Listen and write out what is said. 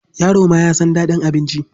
Yaro ma ya san daɗin abinci.